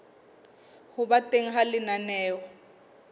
ho ba teng ha lenaneo